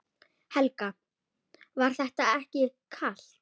Helga: Var þetta ekki kalt?